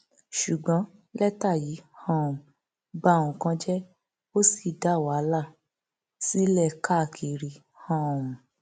ṣùgbọn lẹtà yìí um ba nǹkan jẹ ó sì dá wàhálà sílẹ káàkiri um